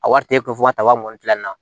A wari tɛ ko fo ka ta wa mugan tilanna